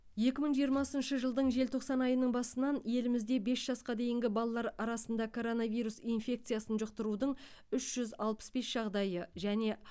екі мың жиырмасыншы жылдың желтоқсан айының басынан елімізде бес жасқа дейінгі балалар арасында коронавирус инфекциясын жұқтырудың үш жүз алпыс бес жағдайы және